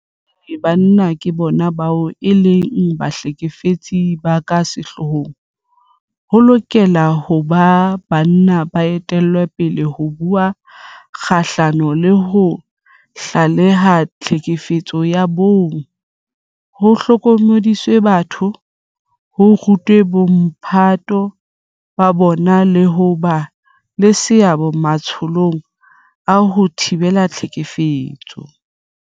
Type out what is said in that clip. Ka hobane banna ke bona bao e leng bahlekefetsi ba ka sehloohong, ho lokela ho ba banna ba etellang pele ho bua kgahlano le ho tlaleha tlhekefetso ya bong, ho hlokomedisa batho, ho ruta bomphato ba bona le ho ba le seabo matsholong a ho thibela tlhekefetso.